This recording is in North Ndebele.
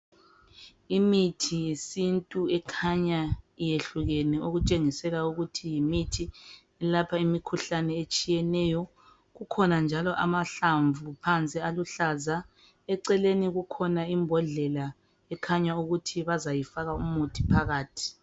imithi yesintu okukhanya iyehlukene okukhanya ukuthi yimithi eyelapha imikhuhlane etshiyeneyo kukhona njalo amahlamvu phansi aluhlaza eceleni kukhona imbodlela ekhanya ukuthi bazayifaka umuthi phakathi